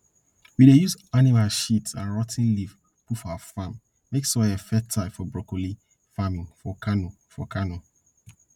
we dey use animal sheat and rot ten leaves put for our farm make soil fertile for broccoli farming for kano for kano